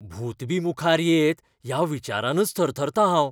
भूत बी मुखार येत ह्या विचारानच थरथरतां हांव.